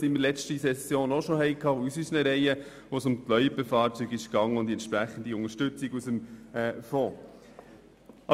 So hatten wir auch in der letzten Session etwas Ähnliches aus unseren Reihen, als es um Loipenfahrzeuge und um eine Unterstützung aus dem Fonds ging.